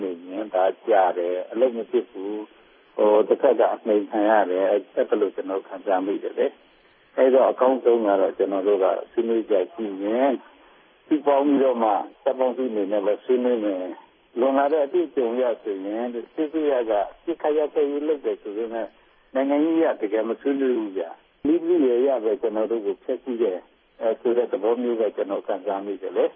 နေရင် ဒါ ကြာတယ်၊ အလုပ်မဖြစ်ဖူး၊ အနှိမ်ခံရတယ်၊ အဲဒီလို ကျွန်တော်တို့ ခံစားမိတယ်လေ။ အဲဒီတော့ အကောင်းဆုံးကတော့ ကျွန်တော်တို့က ဆွေးနွေးစရာ ရှိရင် တပ်ပေါင်းစုအနေနဲ့ပဲ ဆွေးနွေးမယ်။” “လွန်လာတဲ့ အတွေ့အကြုံအရ ဆိုရင် စစ်အစိုးရက အပစ်အခတ် ရပ်စဲရေး လုပ်တယ်ဆိုပေမဲ့ နိုင်ငံရေးအရ တကယ် မဆွေးနွေးဘူးဗျ။ နည်းပရိယာယ်အရပဲ ကျွန်တော်တို့ကို ဖျက်ဆီးတယ်ဆိုတဲ့ သဘောမျိုးပဲ ကျွန်တော် ခံစားမိတယ်လေ